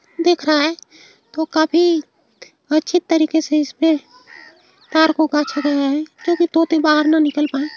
देख रहे हैं तो काफी अच्छी तरीके से इसपे तार को काच्छा गया है ताकि तोते बाहर ना निकल पाए।